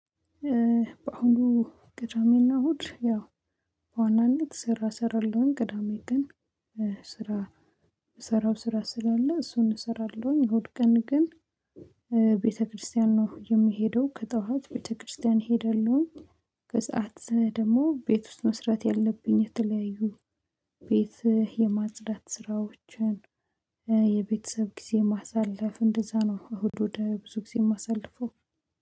በአሁኑ ቅዳሜና እሁድ ያው ዋናነት ስራ እሰራለሁኝ ቅዳሜ ግን ስራ እምሰራው ስራ ስላለ እሱን እሰራለሁኝ። እሁድ ቀን ግን ቤተክርስቲያን ነው የምሄደው ከጠዋት ቤተክርስቲያን ሄደለሁኝ። ከሰአት ደግሞ ቤት ውስጥ መስራት ያለብኝ የተለያዩ ቤት የማጽዳት ስራዎችን፣ የቤተሰብ ጊዜ ማሳለፍ እንደዛ ነው እሁድ እሁድ ብዙ ጊዜ የማሳልፈው